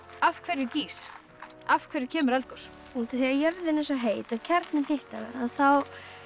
af hverju gýs af hverju kemur eldgos út af því að jörðin er svo heit og kjarninn hitnar þá